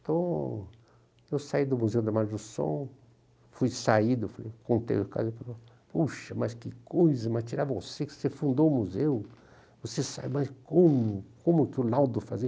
Então, eu saí do Museu da Imagem do Som, fui saído, fui, contei o caso e ele falou, poxa, mas que coisa, mas tirar você que você fundou o museu, você sai, mas como, como que o Laudo fazia?